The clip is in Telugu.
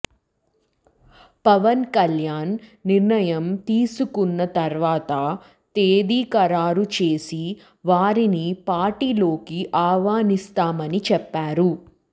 పవన్ కల్యాణ్ నిర్ణయం తీసుకున్న తర్వాత తేదీ ఖరారు చేసి వారిని పార్టీలోకి ఆహ్వానిస్తామని చెప్పారు